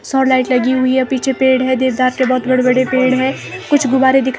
सौर लाइट लगी हुई है पीछे पेड़ है देवदार के बहुत बड़े बड़े पेड़ है कुछ गुब्बारे दिख--